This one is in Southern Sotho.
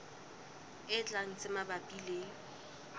e tlang tse mabapi le